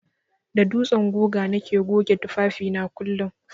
Da dutsen guga nake goge tufafi na kullun.